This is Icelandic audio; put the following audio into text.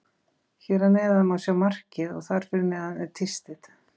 Hér að neðan má sjá markið og þar fyrir neðan er tístið.